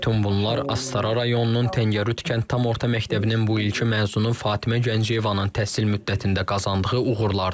Bütün bunlar Astara rayonunun Təngərüd kənd tam orta məktəbinin bu ilki məzunu Fatimə Gəncəyevanın təhsil müddətində qazandığı uğurlardır.